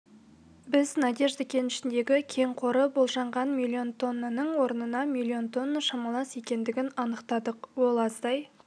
біз надежда кенішіндегі кен қоры болжанған миллион тоннаның орнына миллион тонна шамалас екендігін анықтадық ол аздай